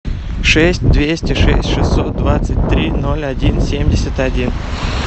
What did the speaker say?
шесть двести шесть шестьсот двадцать три ноль один семьдесят один